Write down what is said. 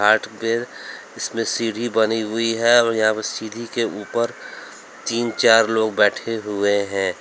इसमें सीढ़ी बनी हुई है और यहां पर सीढ़ी के ऊपर तीन चार लोग बैठे हुए हैं।